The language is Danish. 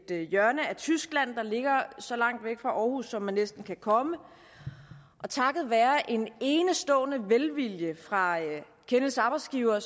hjørne af tyskland der ligger så langt væk fra aarhus som man næsten kan komme og takket være en enestående velvilje fra kenneths arbejdsgiver